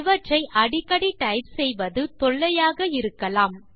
இவற்றை அடிக்கடி டைப் செய்வது தொல்லையாக இருக்கலாம்